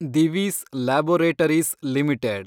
Divi's laboratories limited